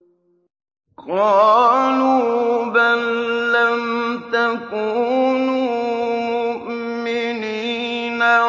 قَالُوا بَل لَّمْ تَكُونُوا مُؤْمِنِينَ